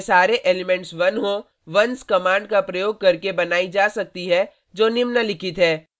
एक मेट्रिक्स जिसमें सारे एलिमेंट्स 1 हों ones कमांड का प्रयोग करके बनाई जा सकती है जो निम्नलिखित है